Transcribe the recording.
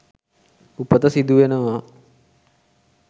උපත සිදු වෙනවා.